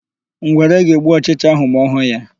Ngwere ga-egbu ọchịcha áhụ̀ ma ọ hụ ya.